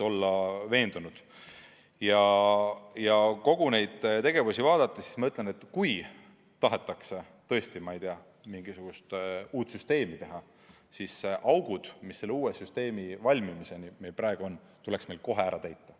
Kui kogu seda tegevust vaadata, siis ma ütlen, et kui tahetakse tõesti, ma ei tea, mingisugust uut süsteemi teha, siis augud, mis selle uue süsteemi väljatöötamises praegu on, tuleks kohe ära täita.